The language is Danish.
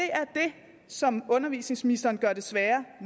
som undervisningsministeren gør det sværere